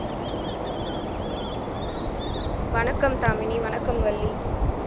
வணக்கம் தாமினி வணக்கம் வள்ளி